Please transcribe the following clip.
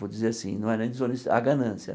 Vou dizer assim, não era nem desonesti, a ganância.